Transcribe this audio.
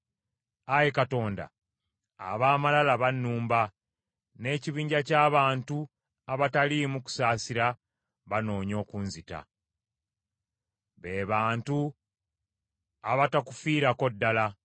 Ayi Katonda, ab’amalala bannumba, ekibinja ky’abantu abataliimu kusaasira bannoonya okunzita, be bantu abatakufiirako ddala.